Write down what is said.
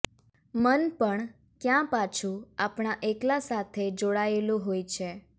મન પણ ક્યાં પાછું આપણા એકલા સાથેય જોડાયેલું હોય છે